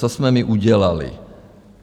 Co jsme my udělali.